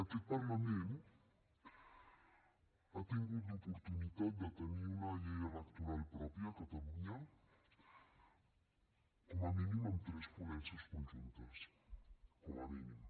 aquest parlament ha tingut l’oportunitat de tenir una llei electoral pròpia a catalunya com a mínim en tres ponències conjuntes com a mínim